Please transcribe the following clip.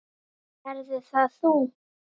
Verður það þú?